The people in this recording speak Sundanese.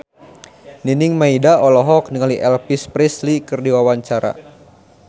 Nining Meida olohok ningali Elvis Presley keur diwawancara